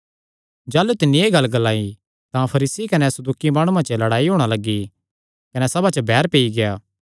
जाह़लू तिन्नी एह़ गल्ल ग्लाई तां फरीसी कने सदूकी माणुआं च लड़ाई होणा लग्गी कने सभा च बैर पेई गेआ